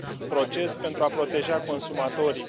proces pentru a proteja consumatorii.